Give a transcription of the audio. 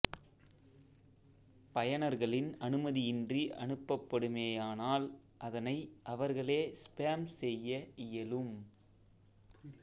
பயனர்களின் அனுமதியின்றி அனுப்பப்படுமேயானால் அதனை அவர்கள் ஸ்பேம் செய்ய இயலும்